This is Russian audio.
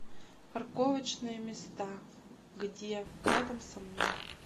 парковочные места где рядом со мной